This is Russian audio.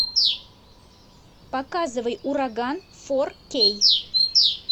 показывай ураган фор кей